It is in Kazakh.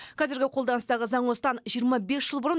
қазіргі қолданыстағы заң осыдан жиырма бес жыл бұрын